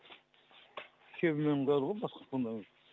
шебеньмен құяды ғой басқа фундамент